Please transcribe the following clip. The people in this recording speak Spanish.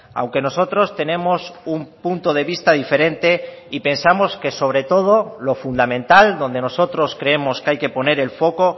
aunque nosotros tenemos un punto de vista diferente y pensamos que sobre todo lo fundamental donde nosotros creemos que hay que poner el foco